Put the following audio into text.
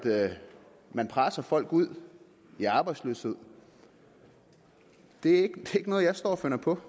man presser folk ud i arbejdsløshed det er ikke noget jeg står og finder på